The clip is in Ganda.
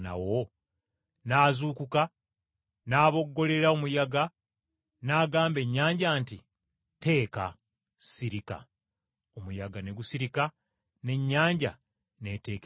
N’azuukuka n’aboggolera omuyaga n’agamba ennyanja nti, “Tteeka, sirika.” Omuyaga ne gusirika n’ennyanja n’eteekera ddala.